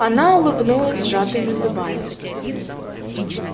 она улыбнулась сжатыми губами